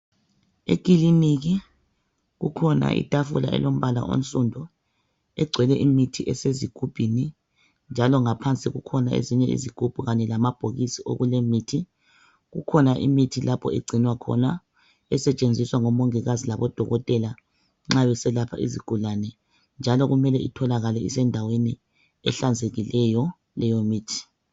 Ekliniki kukhona itafula elompala onsundu kugcwele imithi ezigubhini njalo ngaphansi kukhona ezinye izigumbu kanye lamabhokisi okulemithi ikhona imithi lapho egcinwa khona esetshenziswa ngmongikazi labodokotela nxa beselapha izigulane njalo kumele itholakale isendaweni ehlanzekileyo leyo mithi.